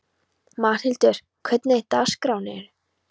Magnhildur, hvernig er dagskráin?